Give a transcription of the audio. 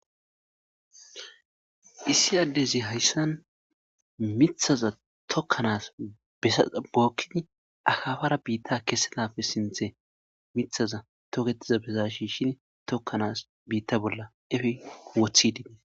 issi addezi hayssan mithaza tokkanaas bookkin akafara biitta kessenafe sinthe mithaza toketiza besa shi shin tokkanaas biitta bolla efi wothidiie